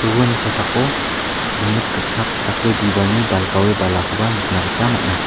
uani kosako rimit gitchak dake bibalni balgaoe balakoba nikna gita man·a.